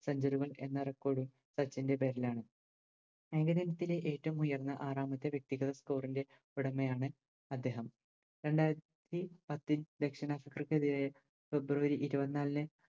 Centuary എന്ന Record ഉം സച്ചിൻറെ പേരിലാണ് ഏകദിനത്തിലെ ഏറ്റവും ഉയർന്ന ആറാമത്തെ വ്യെക്തികൾ Score ൻറെ ഉടമയാണ് അദ്ദേഹം രണ്ടായിരത്തി പത്തിൽ ദക്ഷിണാഫ്രിക്കയിലെ February ഇരുപന്നാലിന്